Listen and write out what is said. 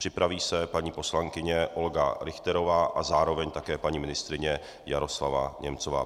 Připraví se paní poslankyně Olga Richterová a zároveň také paní ministryně Jaroslava Němcová.